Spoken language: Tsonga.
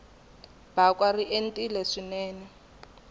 bakwa ri entile swinene